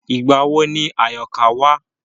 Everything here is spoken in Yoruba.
Ìgbà wo ni Àyọ̀ká wá?